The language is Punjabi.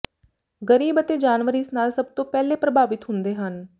ਗ਼ਰੀਬ ਅਤੇ ਜਾਨਵਰ ਇਸ ਨਾਲ ਸਭ ਤੋਂ ਪਹਿਲੇ ਪ੍ਰਭਾਵਿਤ ਹੁੰਦੇ ਹਨ